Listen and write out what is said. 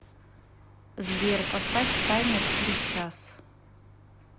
сбер поставь таймер через час